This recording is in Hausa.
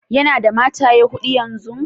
Ya na da mataye Huda yanzun?